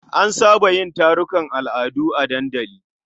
An saba yin tarukan al'adu a dandali.